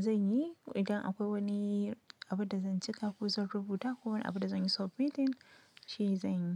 zan yi. Idan akwai wani abin da zan cika ko zan rubuta ko wani abin da zan yi sub meeting, shi zan yi.